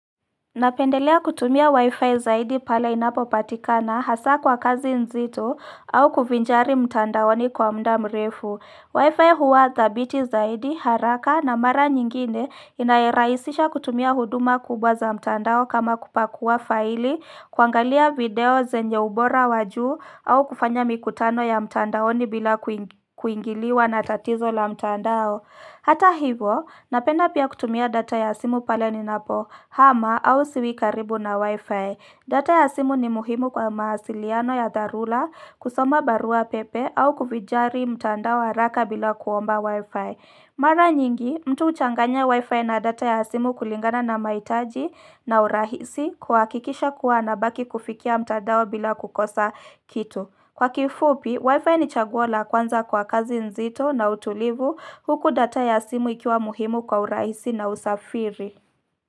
Napendelea kutumia wifi zaidi pale inapopatikana hasaa kwa kazi nzito au kujivinjari mtandaoni kwa muda mrefu wifi huwa thabiti zaidi haraka na mara nyingine inayorahisisha kutumia huduma kubwa za mtandao kama kupakua faili kuangalia video zenye ubora wajuu au kufanya mikutano ya mtandaoni bila kuingi kuingiliwa na tatizo la mtandao Hata hivo, napenda pia kutumia data ya simu pale ninapohama au siwi karibu na wifi. Data ya simu ni muhimu kwa mawasiliano ya dharura kusoma barua pepe au kujivinjari mtandaoni haraka bila kuomba wifi. Mara nyingi, mtu huchanganya wifi na data ya simu kulingana na mahitaji na urahisi kuhakikisha kuwa anabaki kufikia mtandao bila kukosa kitu. Kwa kifupi, wifi ni chaguo la kwanza kwa kazi nzito na utulivu huku data ya simu ikiwa muhimu kwa urahisi na usafiri.